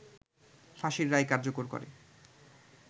ফাঁসির রায় কার্যকর করে